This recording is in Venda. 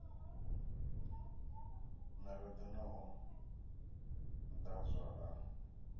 mirado na u ḓadzwa ha